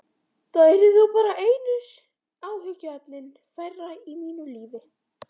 Það yrði þá bara einu áhyggjuefninu færra í mínu lífi.